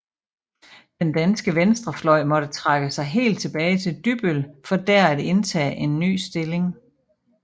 Den danske venstrefløj måtte trække sig helt tilbage til Dybbøl for dér at indtage en ny stilling